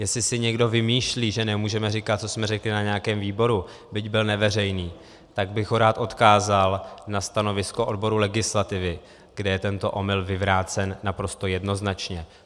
Jestli si někdo vymýšlí, že nemůžeme říkat, co jsme řekli na nějakém výboru, byť byl neveřejný, tak bych ho rád odkázal na stanovisko odboru legislativy, kde je tento omyl vyvrácen naprosto jednoznačně.